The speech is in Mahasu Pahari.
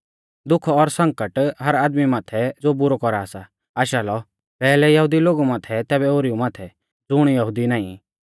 दुख और संकट हर आदमी माथै ज़ो बुरौ कौरा सा आशा लौ पैहलै यहुदी लोगु माथै तैबै ओरीऊ माथै ज़ुण यहुदी नाईं